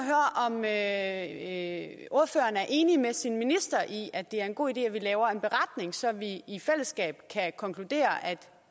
at høre ordføreren er enig med sin minister i at det er en god idé at vi laver en beretning så vi i fællesskab kan konkludere at